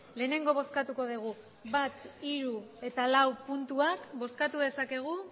lehenengo bozkatuko dugu bat hiru eta lau puntuak bozkatu dezakegu